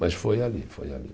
Mas foi ali, foi ali.